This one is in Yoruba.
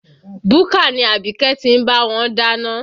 Búkà ni Abike ti ń bá wọn dáná